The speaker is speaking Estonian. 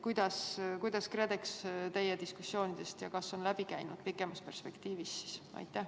Kas KredEx on teie diskussioonidest läbi käinud, kui olete pikemat perspektiivi arutanud?